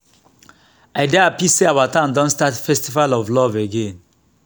i dey happy say our town don start festival of love again